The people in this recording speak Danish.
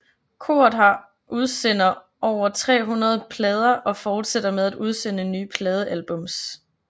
Koret har udsender over 300 plader og fortsætter med at udsende nye pladealbums